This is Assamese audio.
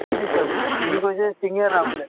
কি দিছে বোলে তে সি কৈছে শিঙিৰা বোলে